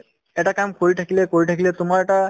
এটা কাম কৰি থাকিলে কৰি থাকিলে তোমাৰ এটা